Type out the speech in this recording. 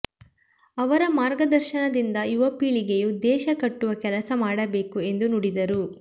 ಅವರ ಮಾರ್ಗದರ್ಶನದಿಂದ ಯುವ ಪೀಳಿಗೆಯು ದೇಶ ಕಟ್ಟುವ ಕೆಲಸ ಮಾಡಬೇಕು ಎಂದು ನುಡಿದರು